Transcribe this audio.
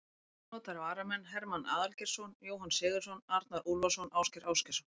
Ónotaðir varamenn: Hermann Aðalgeirsson, Jóhann Sigurðsson, Arnar Úlfarsson, Ásgeir Ásgeirsson.